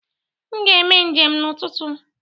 M ga-eme njem n'ụtụtụ.